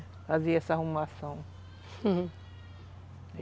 Fazia essa arrumação